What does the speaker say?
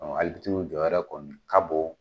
Ɔ Alibitiriw jɔyɔrɔ kɔni ka bon.